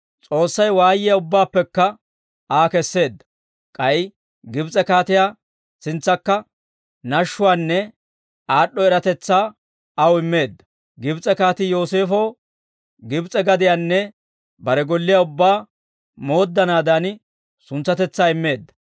S'oossay waayiyaa ubbaappekka Aa kesseedda; k'ay Gibs'e kaatiyaa sintsankka nashshuwaanne aad'd'o eratetsaa aw immeedda; Gibs'e kaatii Yooseefow Gibs'e gadiyaanne bare golliyaa ubbaa mooddanaadan, suntsatetsaa immeedda.